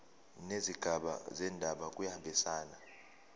nezigaba zendaba kuyahambisana